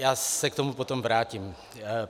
Já se k tomu potom vrátím.